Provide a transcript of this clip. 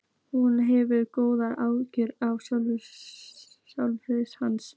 Hún hefur góð áhrif á sálarlíf hans.